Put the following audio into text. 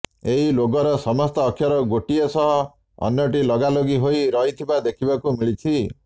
ଏହି ଲୋଗୋର ସମସ୍ତ ଅକ୍ଷର ଗୋଟିଏ ସହ ଅନ୍ୟଟି ଲଗା ଲଗି ହୋଇ ରହିଥିବା ଦେଖିବାକୁ ମିଳିଛି